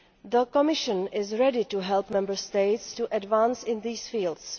The Commission is ready to help Member States to advance in these fields.